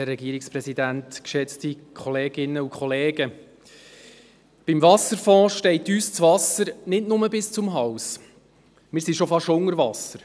Beim Wasserfonds steht uns das Wasser nicht nur bis zum Hals, wir sind schon fast unter Wasser.